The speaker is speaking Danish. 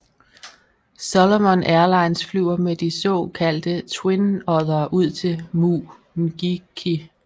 Solomon Airlines flyver med de så kaldte Twin Oddere ud til Mu Ngiki